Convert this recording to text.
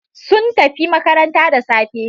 Sun tafi makaranta da safe.